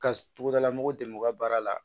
Ka togodalamɔgɔw dɛmɛ u ka baara la